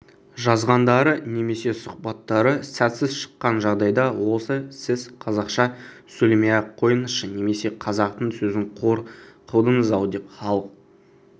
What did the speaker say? жазғандары немесе сұхбаттары сәтсіз шыққан жағдайда осы сіз қазақша сөйлемей-ақ қойыңызшы немесе қазақтың сөзін қор қылдыңыз-ау деп халық